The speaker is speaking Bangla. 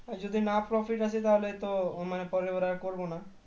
আর যদিনা profit আসে তো পরেরবার আর করবো না